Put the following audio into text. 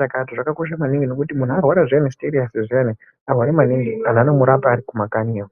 chakati zvakakosha maningi ngekuti muntu arwara zviyani arwara maningi vantu vanomurapa vari kumakanyi iyo.